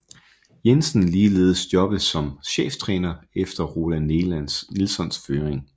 Jensen ligeledes jobbet som cheftræner efter Roland Nilssons fyring